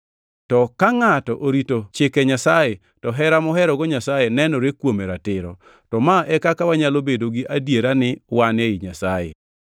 To ka ngʼato orito chike Nyasaye to hera moherogo Nyasaye nenore kuome ratiro. To ma e kaka wanyalo bedo gi adiera ni wan ei Nyasaye: